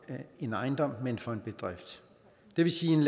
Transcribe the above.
en ejendom men for en bedrift det vil sige